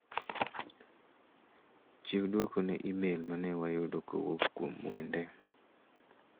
Chiw duoko ne imel mane wayudo kowuok kuom Mwende.